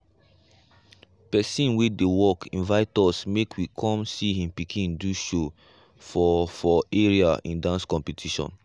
pesin wey dey work invite us make we come see him pikin do show for for area in dance competition.